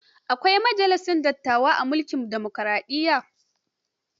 Akwai majalisar dattawa a mulkin dimokaraɗiyya.